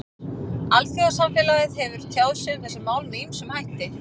Alþjóðasamfélagið hefur tjáð sig um þessi mál með ýmsum hætti.